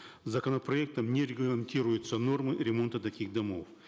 законопроектом не регламентируются нормы ремонта таких домов